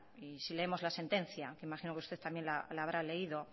si leemos la sentencia imagino que usted también la habrá leído